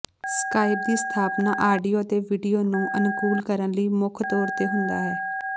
Skype ਦੀ ਸਥਾਪਨਾ audio ਅਤੇ ਵੀਡੀਓ ਨੂੰ ਅਨੁਕੂਲ ਕਰਨ ਲਈ ਮੁੱਖ ਤੌਰ ਤੇ ਹੁੰਦਾ ਹੈ